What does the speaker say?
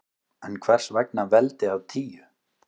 En hvers vegna veldi af tíu?